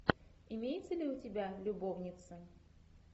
имеется ли у тебя любовница